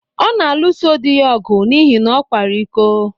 Ọ na-alụso di ya ọgụ n’ihi na ọ kwara iko.